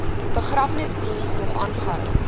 begrafnisdiens nog aangehou